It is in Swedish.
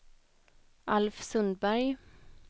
Alf Sundberg